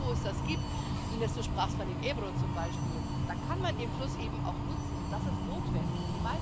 Aber da, wo es das gibt Inés, du sprachst vom Ebro zum Beispiel da kann man den Fluss eben auch nutzen, und das ist notwendig.